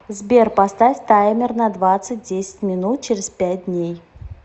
сбер поставь таймер на двадцать десять минут через пять дней